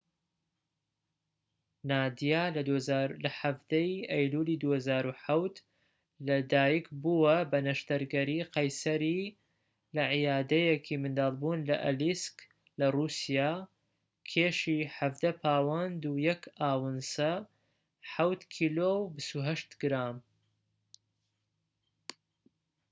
نادیا لە ١٧ ی ئەیلولی ٢٠٠٧ لەدایك بووە بە نەشتەرگەری قەیسەری لە عەیادەیەکی مندڵبوون لە ئەلیسک لە رووسیا، کێشی ١٧ پاوەند و ١ ئاونسە [٧ کیلۆ و ٢٨ گرام]